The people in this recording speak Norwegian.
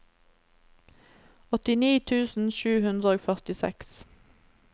åttini tusen sju hundre og førtiseks